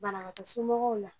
Banabaatɔ somɔgɔw la